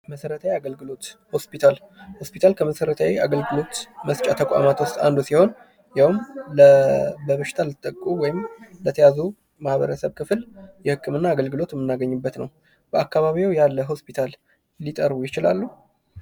መሰረታዊ የአገልግሎት ሆስፒታል፡- ሆስፒታል ከመሰረታዊ አገልግሎት መስጫ ተቋማት ዉስጥ አንዱ ሲሆን ይህም በበሽታ ለተጠቁ ወይም ለተያዙ የማህበረሰብ ክፍል የህክምና አገልግሎት የምናገኝበት ነው። በአካባቢዎ ያለ ሆስፒታል ሊጠሩ ይችላሉ?